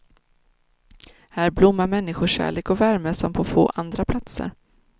Här blommar människokärlek och värme som på få andra platser.